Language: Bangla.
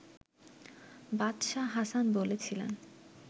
বাদশাহ হাসান বলেছিলেন